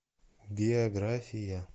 биография